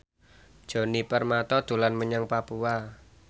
Djoni Permato dolan menyang Papua